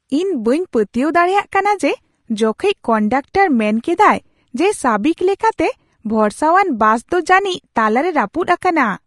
ᱤᱧ ᱵᱟᱹᱧ ᱯᱟᱹᱛᱭᱟᱹᱣ ᱫᱟᱲᱮᱭᱟᱜ ᱠᱟᱱᱟ ᱡᱮ ᱡᱚᱠᱷᱮᱡ ᱠᱚᱱᱰᱟᱠᱴᱚᱨ ᱢᱮᱱ ᱠᱮᱫᱟᱭ ᱡᱮ ᱥᱟᱹᱵᱤᱠ ᱞᱮᱠᱟᱛᱮ ᱵᱷᱚᱨᱥᱟᱣᱟᱱ ᱵᱟᱥ ᱫᱚ ᱡᱟᱹᱱᱤᱡ ᱛᱟᱞᱟ ᱨᱮ ᱨᱟᱹᱯᱩᱫ ᱟᱠᱟᱱᱟ ᱾